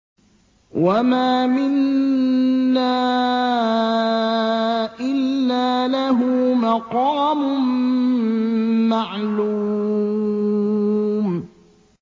وَمَا مِنَّا إِلَّا لَهُ مَقَامٌ مَّعْلُومٌ